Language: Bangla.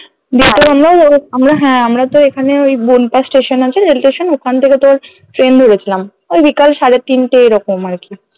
আমরা হ্যাঁ আমরাতো এখানে ওই বনপাশ station আছে rail station ওখানথেকে তোর train ধরেছিলাম ওই বিকাল সাড়ে তিনটে এরকম আর কি